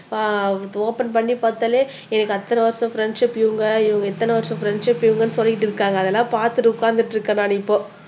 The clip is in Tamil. ஓபன் பண்ணி பார்த்தாலே எனக்கு அத்தனை வருஷ ஃப்ரண்ட்ஷிப் இவங்க இத்தனை வருஷம் ஃப்ரண்ட்ஷிப் இவங்கன்னு சொல்லிட்டு இருக்காங்க அதெல்லாம் பார்த்துட்டு உட்கார்ந்துட்டு இருக்கேன் நான் இப்போ